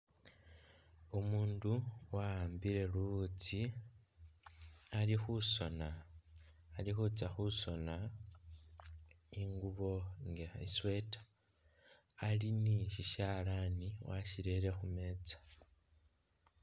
Umuundu wa'ambile luwutsi ali khusona ali khutsya khusona ingubo nga i'sweater. Ali ni sisyalaani wasirere khu meeza.